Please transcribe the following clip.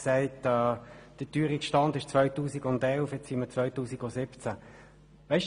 Jetzt befinden wir uns im Jahr 2017.